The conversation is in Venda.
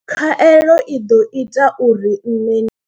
Khaelo i ḓo ita uri nṋe ndi.